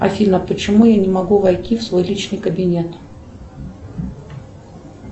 афина почему я не могу войти в свой личный кабинет